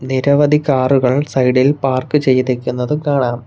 നിരവധി കാറുകൾ സൈഡ് ഇൽ പാർക്ക് ചെയ്തിരിക്കുന്നതു കാണാം.